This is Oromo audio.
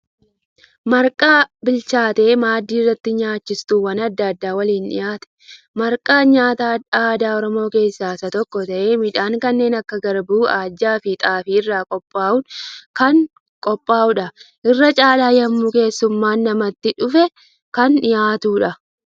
Marqaa bilchaatee maaddii irratti nyaachistuuwwan adda addaa waliin dhiyaate. Marqaann nyaata aadaa Oromoo keessa isa tokko tahee midhaan kanneen akka garbuu, ajjaafi xaafii irraa qophaa'uu kan qophaa'uudha. Irra caala yemmuu keessummaan namatti dhufe kan dhiyaatudha.